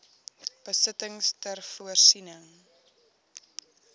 besittings ter voorsiening